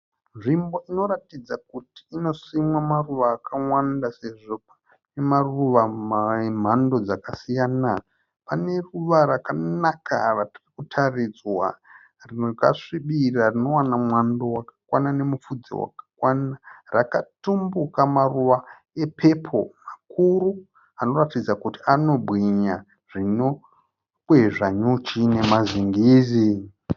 Nzvimbo inoratidza kuti inosimwa maruva akawanda sezvo ine maruva emhando dzakasiyana, pane ruva rakanaka ratiri kutaridzwa rakasvibira rinowana mwando wakakwana nemupfudze wakakwana rakatumbuka maruva epepo zvikuru anoratidza kuti anobwinya zvinokwezva nyuchi nemazingizi.